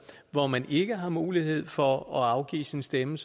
hvor man ikke har mulighed for at afgive sin stemme